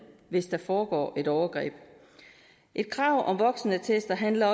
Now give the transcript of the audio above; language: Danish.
hvis der foregår et overgreb et krav om voksenattester handler